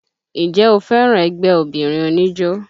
Ǹjẹ́ o fẹ́ràn ẹgbẹ́ obìnrin oníjó?